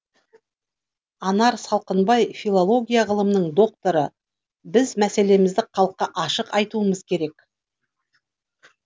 анар салқынбаи филология ғылымының докторы біз мәселемізді халыққа ашық айтуымыз керек